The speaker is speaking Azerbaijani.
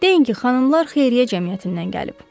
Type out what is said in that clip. Deyin ki, xanımlar Xeyriyyə Cəmiyyətindən gəlib.